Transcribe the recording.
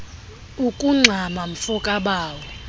ukungxama mfo kabawo